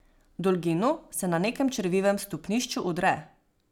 Dolginu se na nekem črvivem stopnišču udre.